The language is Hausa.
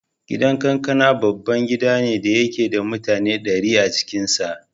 Gidan Kakana babban gida ne da yake da mutane ɗari a cikin sa.